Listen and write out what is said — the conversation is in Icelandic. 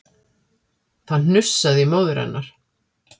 Það hnussaði í móður hennar